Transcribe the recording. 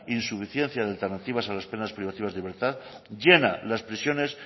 insuficiencia de alternativas a las penas privativas de libertad llena las prisiones